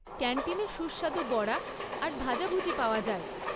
ক্যান্টিনে সুস্বাদু বড়া আর ভাজাভুজি পাওয়া যায়।